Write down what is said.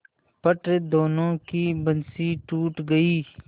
फट दोनों की बंसीे टूट गयीं